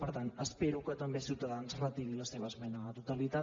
per tant espero que també ciutadans retiri la seva esmena a la totalitat